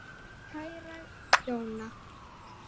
Kæra Jóna.